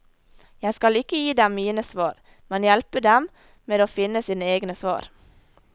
Jeg skal ikke gi dem mine svar, men hjelpe dem med å finne sine egne svar.